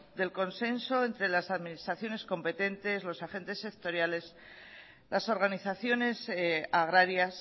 del consenso entre las administraciones competentes los agentes sectoriales las organizaciones agrarias